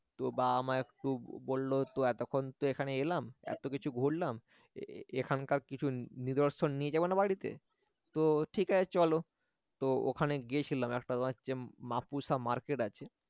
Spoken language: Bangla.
তো বাবা-মা একটু বলল তো এতক্ষণ তো এখানে এলাম এত কিছু ঘুরলাম এখানকার কিছু নিদর্শন নিয়ে যাব না বাড়িতে তো ঠিক আছে চলো তো ওখানে গিয়েছিলাম একটা তোমার হচ্ছে মাপুসা মার্কেট আছে